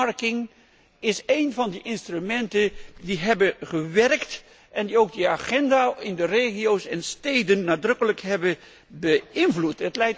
earmarking is één van de instrumenten die hebben gewerkt en die ook de agenda in de regio's en steden nadrukkelijk hebben beïnvloed.